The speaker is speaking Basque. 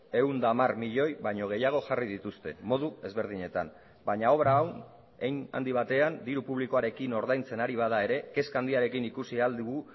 ehun eta hamar milioi baino gehiago jarri dituzte modu ezberdinetan baina obra hau hein handi batean diru publikoarekin ordaintzen ari bada ere kezka handiarekin ikusi ahal dugu